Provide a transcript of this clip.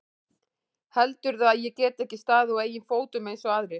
Heldurðu að ég geti ekki staðið á eigin fótum eins og aðrir?